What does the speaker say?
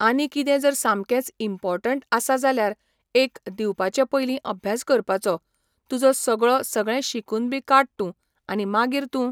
आनी किदें जर सामकेंच इंपोर्टंट आसा जाल्यार एक दिवपाचे पयली अभ्यास करपाचो तुजो सगळो सगळें शिकून बी काड तूं आनी मागीर तूं